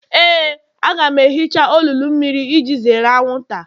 Éè, a ga m ehicha olulu mmiri iji zere anwụnta